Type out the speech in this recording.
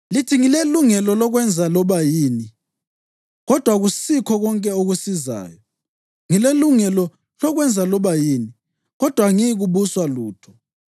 Lithi “Ngilelungelo lokwenza loba yini,” kodwa akusikho konke okusizayo. “Ngilelungelo lokwenza loba yini” kodwa angiyikubuswa lutho.